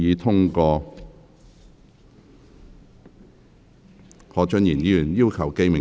何俊賢議員要求點名表決。